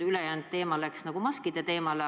Ülejäänud aeg läks maskide teemale.